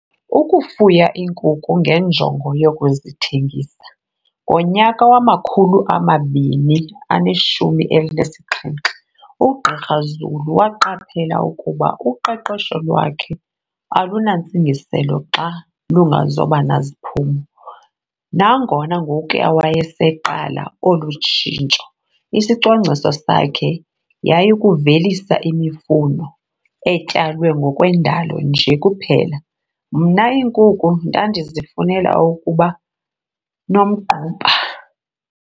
Ukufuya iinkukhu ngenjongo yokuzithengisa. "Ngonyaka wama-2017, uGqr Zulu waqaphela ukuba uqeqesho lwakhe alunantsingiselo xa lungazoba naziphumo. Nangona ngokuya wayeseqala olu tshintsho, isicwangciso sakhe yayikuvelisa imifuno etyalwe ngokwendalo nje kuphela."Mna iinkukhu ndandizifunela ukuba nomgquba."